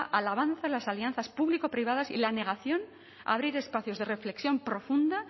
al avance en las alianzas público privadas y la negación a abrir espacios de reflexión profunda